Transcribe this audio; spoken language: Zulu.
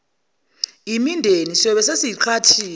mindeni siyobe sesiyiqhathile